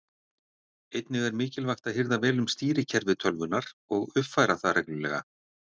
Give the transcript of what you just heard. Einnig er mikilvægt að hirða vel um stýrikerfi tölvunnar og uppfæra það reglulega.